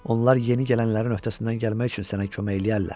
Onlar yeni gələnlərin öhdəsindən gəlmək üçün sənə kömək eləyərlər.